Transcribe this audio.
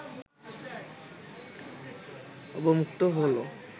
অবমুক্ত হলো